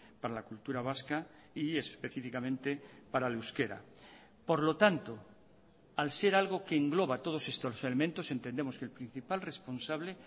para la cultura vasca y específicamente para el euskera por lo tanto al ser algo que engloba todos estos elementos entendemos que el principal responsable